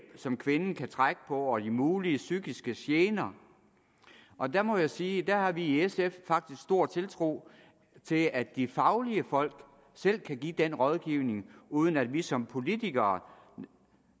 som kvinden kan trække på samt de mulige psykiske gener og der må jeg sige at der har vi i sf faktisk stor tiltro til at de faglige folk selv kan give den rådgivning uden at vi som politikere